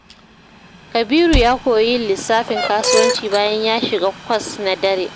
Kabiru ya koyi yin lissafin kasuwanci bayan ya shiga kwas na daren.